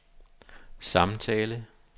samtale